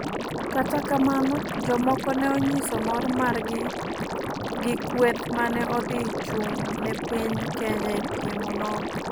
Kata kamano jomoko ne onyiso mor mar gi gi kweth mane odhi chung ne piny kenya e piem onogo.